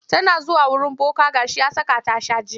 Tana zuwa wurin boka ga shi ya saka ta shan jini.